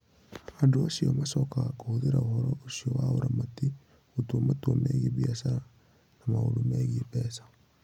Andũ acio macokaga kũhũthĩra ũhoro ũcio wa ũramati gũtua matua megiĩ biacara na maũndũ megiĩ mbeca.